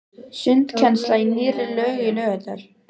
Sundkennsla í nýrri laug í Laugardal.